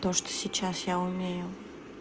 то что сейчас я умею